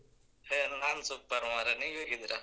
ಹೇ ನಾನ್ super ಮಾರ್‍ರೇ ನೀವ್ ಹೇಗಿದ್ದೀರ?